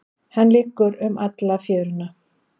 Hann liggur um alla fjöruna.